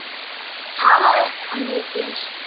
Talaði hann mikið um mig?